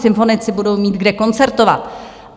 Symfonici budou mít kde koncertovat.